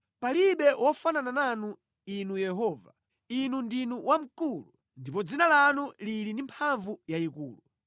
Palibe wofanana nanu, Inu Yehova; Inu ndinu wamkulu, ndipo dzina lanu lili ndi mphamvu yayikulu.